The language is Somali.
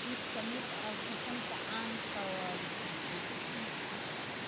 Mid ka mid ah suxuunta caanka ah waa Bobotie